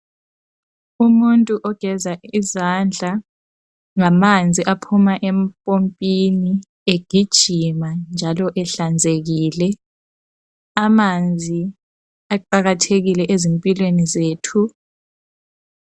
Umuntu ogeza izandla ngamanzi aphuma empompini, egijima njalo ehlanzekile. Amanzi aqakathekile ezimpilweni zethu.